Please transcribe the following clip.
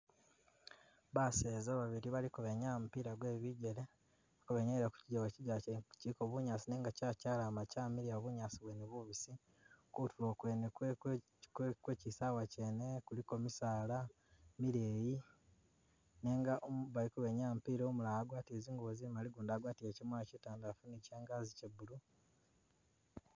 Baseza babili baliko benyaaya mupila gwe bigele, ka benyayila kukigewa, kigewa kyene kiliko bunyaasi nenga kya kyalama kyamiliya bunyaasi bwene bubisi, kutulo kwene kwe kwe kwe ki kwe kisawa kyene kuliko misaala mileyi nenga umu baliko benyaaya mupila umulala agwatile zingubo zimali gundi agwatile kya mwalo kitandalafu ni kya'angazi kya blue.